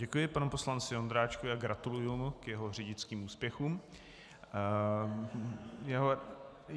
Děkuji panu poslanci Ondráčkovi a gratuluji mu k jeho řidičským úspěchům.